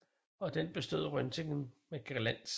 Og den bestod Röntgen med glans